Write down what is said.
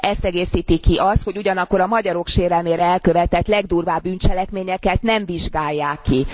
Ezt egészíti ki az, hogy ugyanakkor a magyarok sérelemére elkövetett legdurvább bűncselekményeket nem vizsgálják ki.